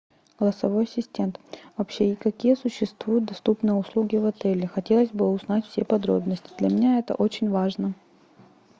голосовой ассистент вообще какие существуют доступные услуги в отеле хотелось бы узнать все подробности для меня это очень важно